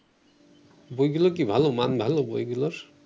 বইগুলো কি ভালো মান ভালো বইগুলোর